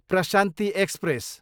Prashanti express